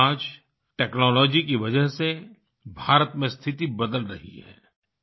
लेकिन आज टेक्नोलॉजी की वजह से भारत में स्थिति बदल रही है